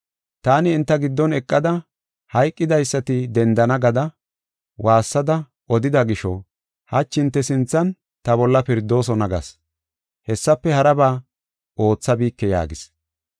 Taani enta giddon eqada, ‘Hayqidaysati dendana gada waassada odida gisho hachi hinte sinthan ta bolla pirdoosona’ gas; hessafe haraba oothabike” yaagis.